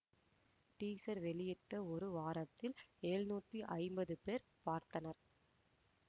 teaser வெளியிட்ட ஒரு வாரத்தில் எழுநூத்தி ஐம்பது பேர் பார்த்தனர்